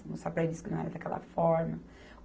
disse que não era daquela forma.